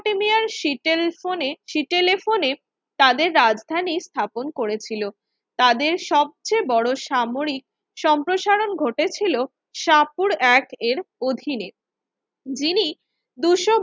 সিটেল ফোনে সিটেলে ফোনে তাদের রাজধানী স্থাপন করেছিল তাদের সবচেয়ে বড় সামরিক সম্প্রসারণ ঘটেছিল সাপুড় এক এর অধীনে যিনি দুশো